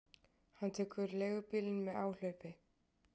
Hann tekur leigubílinn með áhlaupi.